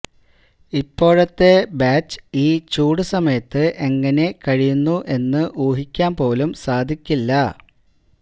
ഇപ്പോഴത്തെ ബാച്ച് ഈ ചൂടു സമയത്ത് എങ്ങനെ കഴിയുന്നു എന്ന് ഊഹിക്കാന് പോലും സാധിക്കില്ല